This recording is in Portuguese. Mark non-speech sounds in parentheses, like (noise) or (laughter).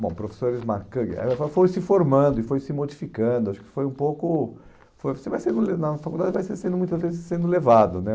Bom, professores marcan, eh foi se formando e foi se modificando, acho que foi um pouco... (unintelligible) na faculdade vai sendo muitas vezes levado, né?